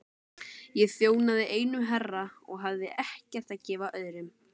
Ég þjónaði einum herra og hafði ekkert að gefa öðrum.